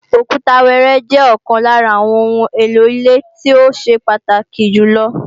Òkúta wẹẹrẹ jẹ́ ọ̀kan lára àwọn oun èlò ilé tó ṣe pàtàkì jù lọ